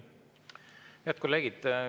Head kolleegid!